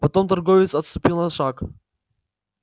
потом торговец отступил на шаг